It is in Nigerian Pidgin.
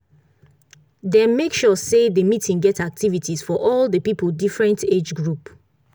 dem make sure say the meeting get activities for all the people different age group